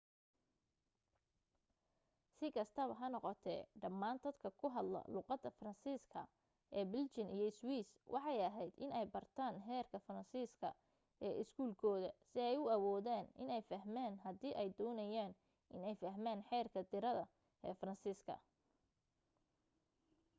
si kastaba ha noqotee dhamaan dadka ku hadla luuqada faransiis ka ee belgian iyo swiss waxay aheyd in ay bartaan heerka faransiiska ee iskuul kooda si ay u awoodaan iney fahmaan haddii ay doonayaan iney fahmaan xeerka tirade ee faransiiska